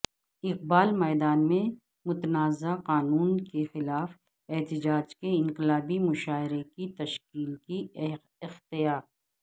اقبال میدان میں متنازعہ قانونکیخلاف احتجاج نے انقلابی مشاعرے کی شکل کی اختیا